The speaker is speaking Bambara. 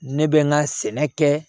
Ne bɛ n ka sɛnɛ kɛ